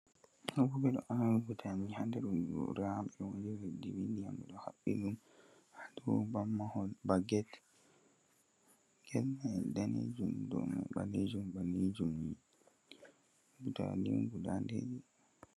Ɓe ɗo aawa butaali a goora be ndiyam, haa mahol be get ɗo mari kala daneejum be ɓaleejum ɓaleejum haa dow. Butaali on guda ɗiɗi.